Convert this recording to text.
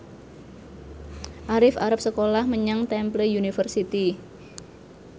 Arif arep sekolah menyang Temple University